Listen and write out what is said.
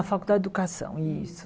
Na Faculdade de Educação, isso.